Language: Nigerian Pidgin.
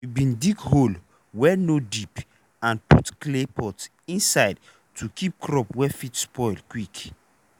we bin dig hole wey no deep and put clay pot inside to keep crop wey fit spoil quick.